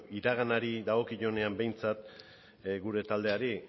iraganari dagokionean behintzat gure taldeari